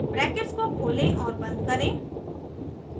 brackets को खोलें और बंद करें